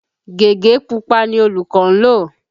Gègé pupa ni olùkọ́ ń lò.